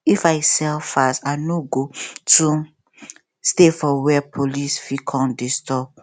if i sell fast i no go too stay for where police fit come disturb